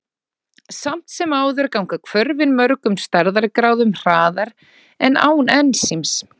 Samt sem áður ganga hvörfin mörgum stærðargráðum hraðar en án ensíms.